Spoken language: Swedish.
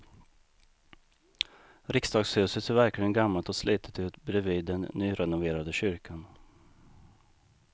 Riksdagshuset ser verkligen gammalt och slitet ut bredvid den nyrenoverade kyrkan.